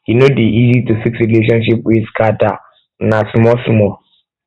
e no dey um easy um to fix relationship wey scatter um o na smallsmall